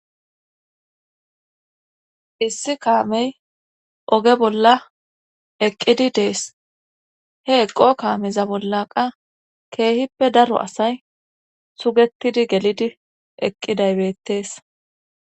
Issi kaamey oge bolla eqqidi dees he eqo kaameza bollaqa keehippe daro asay sugetidi gelidi eqqidaybeettees.